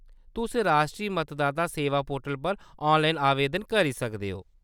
तुस राश्ट्री मतदाता सेवा पोर्टल पर ऑनलाइन आवेदन करी सकदे ओ।